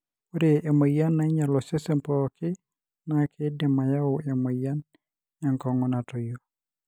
ore emoyian nainyial osesen pooki na kidim ayau emoyian enkongu natoyio.